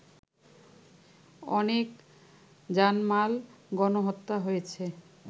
অনেক জানমাল, গণহত্যা হয়েছে